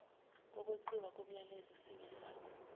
kokweqiwa komyalelo singesakho